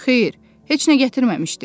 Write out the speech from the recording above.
Xeyr, heç nə gətirməmişdi.